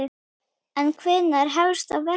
En hvenær hefst þá verkið?